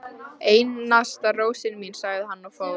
Einasta rósin mín, sagði hann og fór.